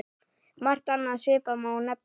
Margt annað svipað má nefna.